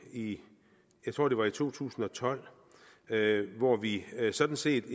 jeg tror det var i to tusind og tolv hvor vi sådan set